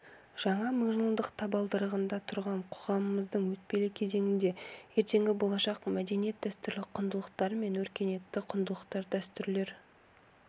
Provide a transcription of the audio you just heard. жаңа мыңжылдық табалдырығында тұрған қоғамымыздың өтпелі кезеңінде ертеңгі болашақ мәдениет дәстүрлі құндылықтар мен өркениетті құндылықтар дәстүрлер